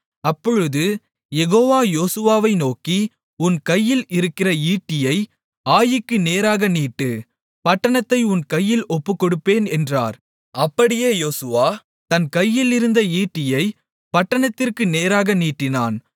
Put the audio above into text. அப்பொழுது யெகோவா யோசுவாவை நோக்கி உன் கையில் இருக்கிற ஈட்டியை ஆயீக்கு நேராக நீட்டு பட்டணத்தை உன் கையில் ஒப்புக்கொடுப்பேன் என்றார் அப்படியே யோசுவா தன் கையில் இருந்த ஈட்டியைப் பட்டணத்திற்கு நேராக நீட்டினான்